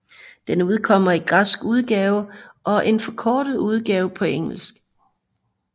Den udkommer i en græsk udgave og en forkortet udgave på engelsk